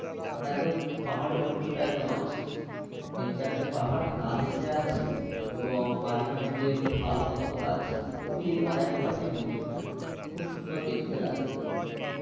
মানে একদম পাহাড়ের উচ্চতায় একদম আছে তিন চারটে পাহাড় গা ঘেষে আছে এবং মাঝখানে যে খাল মতো করা আছে ও দিয়ে তোমার এক পাশেই মন্দির টা খুব সুন্দর দেখতে লাগে ওই view